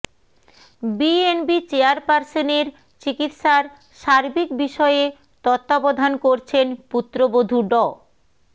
BNP চেয়ারপার্সনের চিকিৎসার সার্বিক বিষয়ে তত্ত্বাবধান করছেন পুত্রবধূ ড